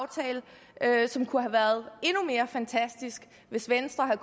er aftale som kunne have været endnu mere fantastisk hvis venstre havde